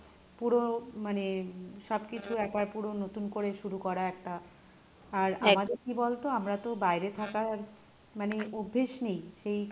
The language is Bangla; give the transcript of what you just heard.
পুরো মানে সব কিছু একবার পুরো নতুন করে শুরু করা একটা আর আমাদের কী বলতো আমরা তো বাইরে থাকার মানে অভ্যেস নেই সেই,